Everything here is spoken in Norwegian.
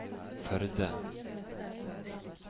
Førde